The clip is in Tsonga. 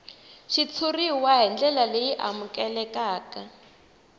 xitshuriwa hi ndlela leyi amukelekaka